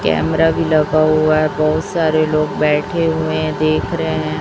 Camera भी लगा हुआ है बहुत सारे लोग बैठे हुए हैं देख रहें हैं।